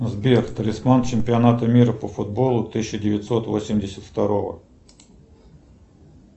сбер талисман чемпионата мира по футболу тысяча девятьсот восемьдесят второго